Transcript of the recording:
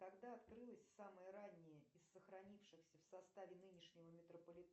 когда открылась самая ранняя из сохранившихся в составе нынешнего метрополитена